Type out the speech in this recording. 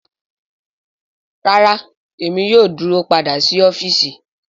Rara Emi yoo duro pada si ọfiisi